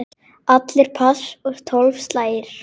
Allir pass og tólf slagir.